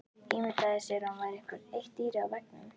Ímyndaði sér að hún væri eitt dýrið á veggnum.